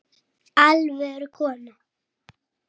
Alvöru kona.